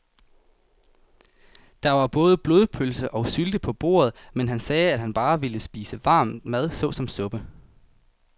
Der var både blodpølse og sylte på bordet, men han sagde, at han bare ville spise varm mad såsom suppe.